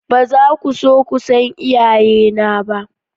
Ba za ku so ku san iyayena ba.